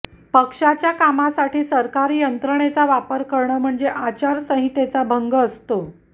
पक्षाच्या कामासाठी सरकारी यंत्रणेचा वापर करणं म्हणजे आचारसंहितेचा भंग असतो